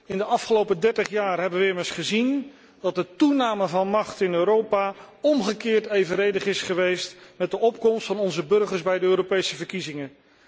In de afgelopen dertig jaar hebben we immers gezien dat de toename van macht in Europa omgekeerd evenredig is geweest met de opkomst van onze burgers bij de Europese verkiezingen.